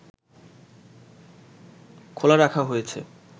খোলা রাখা হয়েছে